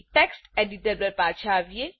text editor પર પાછા આવીએ